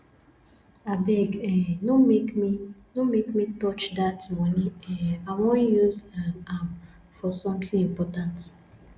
abeg um no make me no make me touch dat money um i wan use um am for something important